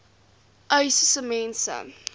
uys sê mense